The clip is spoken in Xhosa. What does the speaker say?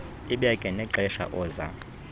ibeke nexesha oza